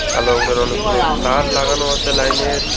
কালো রঙ্গের অনেকগুলো তার লাগানো আসে লাইনের।